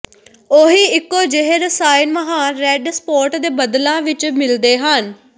ਉਹੀ ਇੱਕੋ ਜਿਹੇ ਰਸਾਇਣ ਮਹਾਨ ਰੈੱਡ ਸਪੌਟ ਦੇ ਬੱਦਲਾਂ ਵਿੱਚ ਮਿਲਦੇ ਹਨ